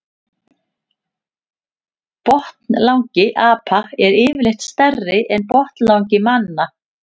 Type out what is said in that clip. Botnlangi apa er yfirleitt stærri en botnlangi manna.